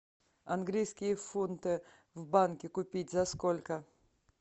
английские фунты в банке купить за сколько